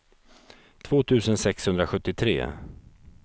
två tusen sexhundrasjuttiotre